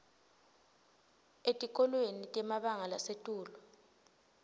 etikolweni temabanga lasetulu